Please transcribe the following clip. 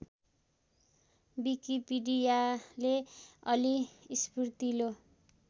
विकिपीडियाले अलि स्फूर्तिलो